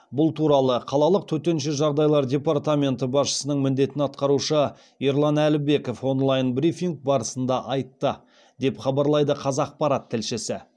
бұл туралы қалалық төтенше жағдайлар департаменті басшысының міндетін атқарушы ерлан әлібеков онлайн брифинг барысында айтты деп хабарлайды қазақпарат тілшісі